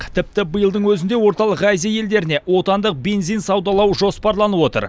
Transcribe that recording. тіпті биылдың өзінде орталық азия елдеріне отандық бензин саудалау жоспарланып отыр